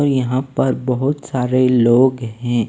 और यहां पर बहुत सारे लोग हैं।